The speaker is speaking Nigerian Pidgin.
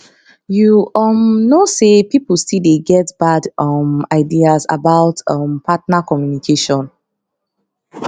you um know say people still dey get bad um ideas about um partner communication